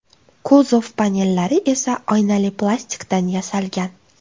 Kuzov panellari esa oynali plastikdan yasalgan.